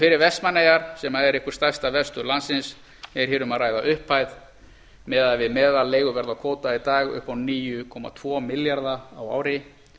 fyrir vestmannaeyjar sem er einhver stærsta verstöð landsins er um að ræða upphæð miðað við meðalleiguverð á kvóta í dag upp á níu komma tvo milljarða á ári